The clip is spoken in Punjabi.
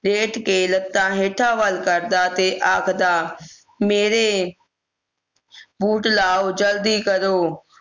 ਲੇਟ ਕੇ ਲੱਖਾਂ ਹੇਠਾਂ ਵੱਲ ਕਰਦਾ ਤੇ ਆਖਦਾ ਮੇਰੇ boot ਲਉ ਜਲਦੀ ਕਰੋ